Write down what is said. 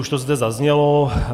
Už to zde zaznělo.